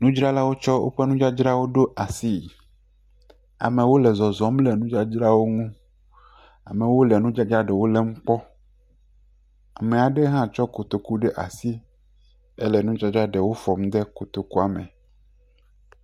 Nudzralawo tsɔ woƒe nudzadzra ɖo asie, ameow le zɔzɔm le nudzadzrawo ŋu. amewo le nudzadzrawo lém kpɔ, ame aɖe hã lé kotoku ɖe asi le nudzadzra aɖewo fɔm de kotokua eme.